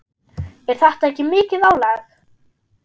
Er þetta ekki mikið álag?